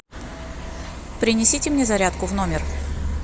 принесите мне зарядку в номер